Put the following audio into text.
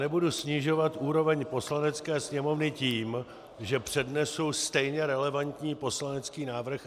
Nebudu snižovat úroveň Poslanecké sněmovny tím, že přednesu stejně relevantní poslanecký návrh.